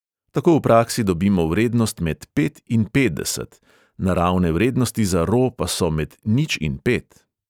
Tako v praksi dobimo vrednost med pet in petdeset, naravne vrednosti za ro pa so med nič in pet.